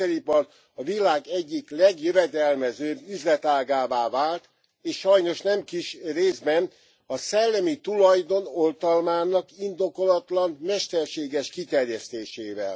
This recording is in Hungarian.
A gyógyszeripar a világ egyik legjövedelmezőbb üzletágává vált, és sajnos nem kis részben a szellemi tulajdon oltalmának indokolatlan, mesterséges kiterjesztésével.